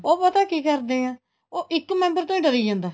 ਉਹ ਪਤਾ ਕੀ ਕਰਦੇ ਹੈ ਉਹ ਇੱਕ member ਤੋਂ ਡਰੀ ਜਾਂਦਾ